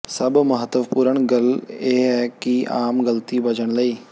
ਸਭ ਮਹੱਤਵਪੂਰਨ ਗੱਲ ਇਹ ਹੈ ਕਿ ਆਮ ਗਲਤੀ ਬਚਣ ਲਈ